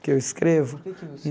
Porque eu escrevo?